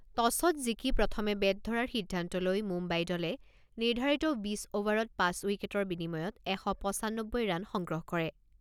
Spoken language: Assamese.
টছত জিকি প্ৰথমে বেট ধৰাৰ সিদ্ধান্ত লৈ মুম্বাই দলে নিৰ্ধাৰিত বিছ অভাৰত পাঁচ উইকেটৰ বিনিময়ত এশ পঁচানব্বৈ ৰান সংগ্ৰহ কৰে।